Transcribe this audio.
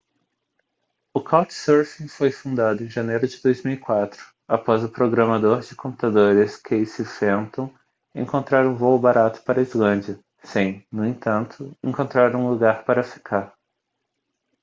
o couchsurfing foi fundado em janeiro de 2004 após o programador de computadores casey fenton encontrar um voo barato para a islândia sem no entanto encontrar um lugar para ficar